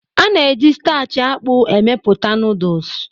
A na-eji starch akpu amepụta Noodles